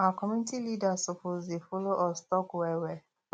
our community leaders suppose dey follow us talk well well